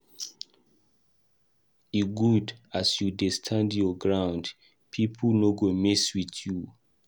E good as you dey stand your ground, pipo no go mess wit you.